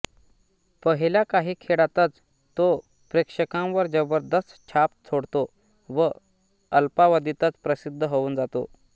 पहिल्या काही खेळातच तो प्रेषकांवर जबरदस्त छाप सोडतो व अल्पावधीतच प्रसिद्द होऊन जातो